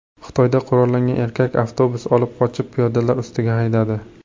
Xitoyda qurollangan erkak avtobus olib qochib, piyodalar ustiga haydadi.